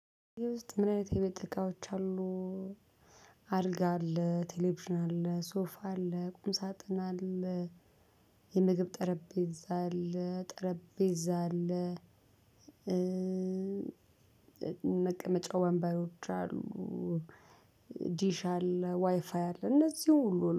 ውስጥ ምን አይነት የቤት እቃዎች አሉ? አልጋ አለ ቴሌቪዥን አለ ሶፋ አለ ቁም ሳጥን አለ። የምግብ ጠረጴዛ አለ ጠረጴዛ አለ መቀመጫው ወንበሮች አሉ። ዲሽ አለ ዋይፋይ አለ እነዚህ ሁሉ